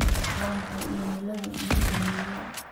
waa maxay iimayladii iigu dambeeyay